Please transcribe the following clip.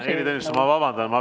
Ma vabandan.